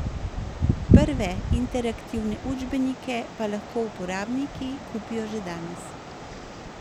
Prve interaktivne učbenike pa lahko uporabniki kupijo že danes.